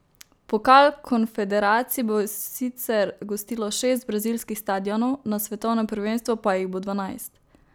Pokal konfederacij bo sicer gostilo šest brazilskih stadionov, na svetovnem prvenstvu pa jih bo dvanajst.